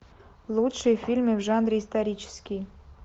лучшие фильмы в жанре исторический